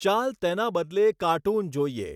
ચાલ, તેના બદલે કાર્ટૂન જોઈએ!